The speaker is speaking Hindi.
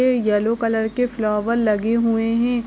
ये येलो कलर के लगे हुए है